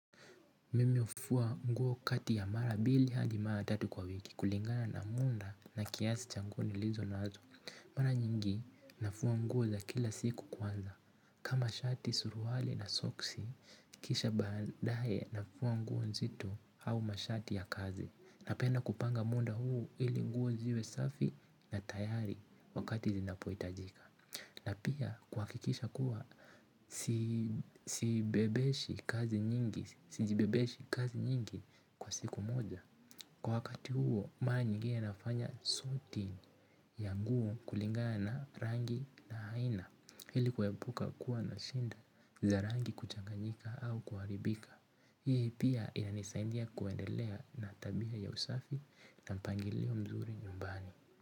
Mimi ufua nguo kati ya mara bili hadi mara tatu kwa wiki kulingana na munda na kiasi cha nguo nilizo nazo. Mara nyingi nafua nguo za kila siku kwanza. Kama shati suruali na soksi, kisha baadaye nafua nguo nzitu au mashati ya kazi. Napenda kupanga munda huu ili nguo ziwe safi na tayari wakati zinapoitajika. Na pia kuakikisha kuwa sijibebeshi kazi nyingi kwa siku moja. Kwa wakati huo mara nyingine nafanya suti ya nguo kulingana na rangi na haina ili kuepuka kuwa na shinda za rangi kuchanganyika au kuaribika. Hii pia inanisaindia kuendelea na tabia ya usafi na mpangilio mzuri nyumbani.